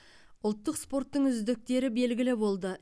ұлттық спорттың үздіктері белгілі болды